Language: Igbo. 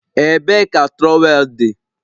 Ebee ka trowel dị?